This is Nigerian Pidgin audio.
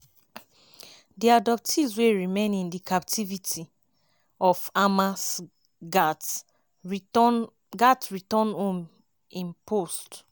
di abductees wey remain in di captivity of hamas gatz return gatz return home” im post.